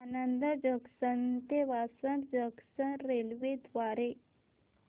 Anand junction ते Vasad junction railway द्वारे